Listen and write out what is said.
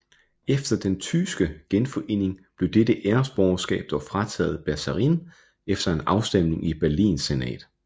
Efter den tyske genforening blev dette æresborgerskab dog frataget Bersarin efter en afstemning i Berlins senat